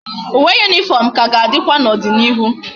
Uwe uniform ka ga adikwa na odi na ihu